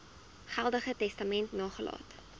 geldige testament nagelaat